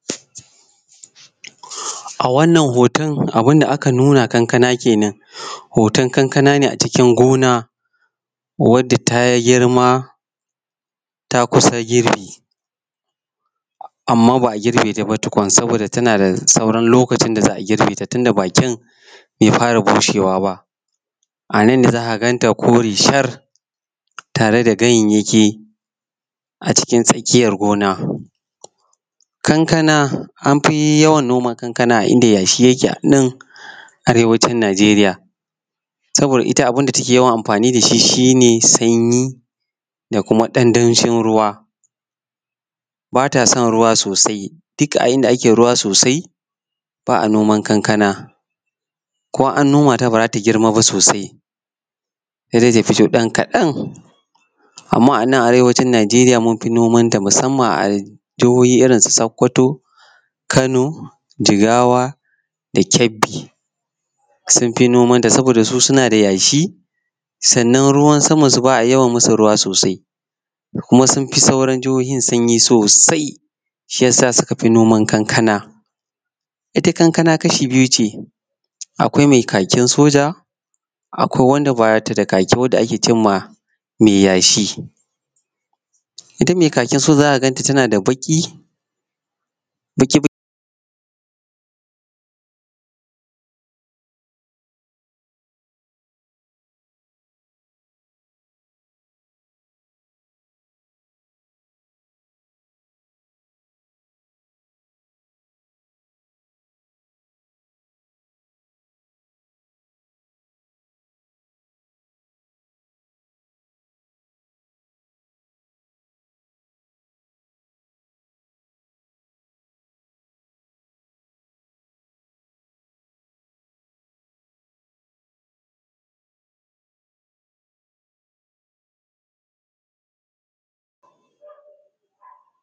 A wannan kankana kenan hoton kankana ne a cikin gona wanda ta girma ta kusa firbi amma ba a gurbe ta ba tukun saboda ta a da saura lokacin da za a girbe ta tunda bakin bai fara bushewa ba, anna ne za ka ga ta kore shar tare da ganyayyaki cikin tsakiyar gona. Kankana an fi yawan noma kankana a inda yashi yake a nan Arewacin Nijeriya saboda ita abun da take yawan amfani da shi ,shi ne sanyi da kuma ɗan danshin ruwa ba ta son ruwa sosai duk a inda ake ruwa sosai ba a noman kankana ko an noma ta ba za ta girma ba sosai sai dai ta fito ɗan kadan. Amma a Arewacin Nijeriya mufi nimanta, musamma a jihohi irin su sakoto, Kano jigawa da kebbi sun fi nomanta saboda su suna da yashi sannan ruwan samansu ba a yawan yi musu ruwa sosai da kuma sun fi sauran jihohin sanyi sosai da suka fi noman kankana. Ita kankana kashi biyu ce akwai mai kakin soja akwai wanda ba ta da kaki wanda ake ce ma mai yashi. Ita mai kakin soja za ka a ganta tana da baki-baki